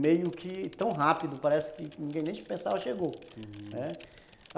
meio que tão rápido, parece que ninguém nem se pensava, chegou. Né, uhum.